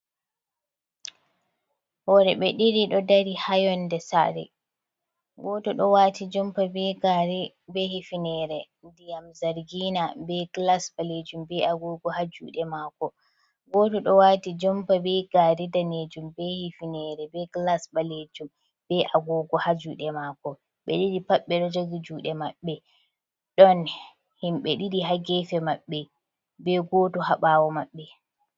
Worɓe ɗiɗi ɗo dari haa yonde saare. Goto ɗo waati jompa be gaare, be hifinere diyam zargina be glas ɓaleejum, be agogo haa juuɗe maako. Goto ɗo waati jompa be gaare daneejum, be hifinere, be glas ɓaleejum, be agogo haa juuɗe maako. Ɓe ɗiɗi pat ɓe ɗo jogi juuɗe maɓbe, ɗon himɓ ɗiɗi haa gefe maɓbe, be goɗɗo haa ɓawo maɓɓe.